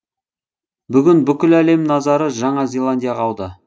бүгін бүкіл әлем назары жаңа зеландияға ауды